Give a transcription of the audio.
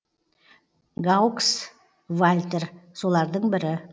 гаукс вальтер солардың бірі